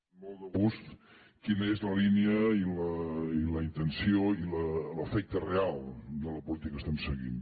amb molt de gust quina és la línia i la intenció i l’efecte real de la política que estem seguint